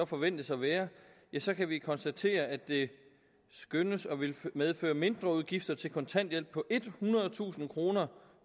forventes at være ja så kan vi konstatere at det skønnes at ville medføre mindreudgifter til kontanthjælp på ethundredetusind kroner